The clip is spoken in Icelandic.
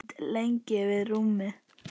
Ég stend lengi við rúmið.